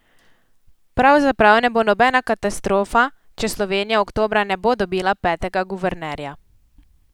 Pravzaprav ne bo nobena katastrofa, če Slovenija oktobra ne bo dobila petega guvernerja.